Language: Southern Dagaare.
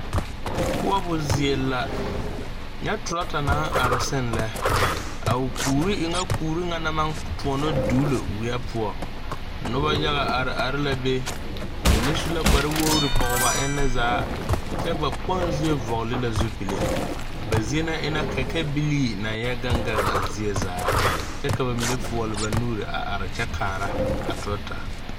Koɔbo zie la nyɛ traata naŋ are seŋ lɛ a o kuure w ŋa kuure ŋa naŋ maŋ tõɔnɔ duulo weɛ poɔ nobɔ yaga are are la be ba mine su la kpare wogre pɔg ba enne zaa kyɛ ba kpoŋ zie vɔgle la zupile a ba zie na e la kɛkɛbilii naŋ yɛ gaŋ gan ŋaa zie zaa kyɛ ka ba mine fɔɔle ba nuure a are kyɛ kaara a traata.